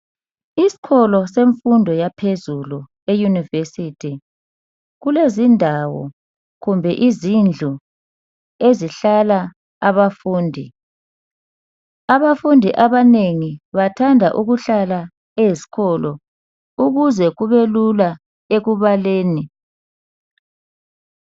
Iskolo semfundo yaphezulu eyunivesithi kulezindawo kumbe izindlu ezihlala abafundi. Abafundi abanengi bathanda ukuhlala ezkolo ukuze kubelula ekubaleni.